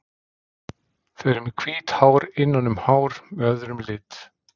Þau eru með hvít hár innan um hár með öðrum lit.